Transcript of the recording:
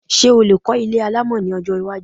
Ṣé o lè kọ́ ilé alámọ̀ ní ọjọ́ iwájú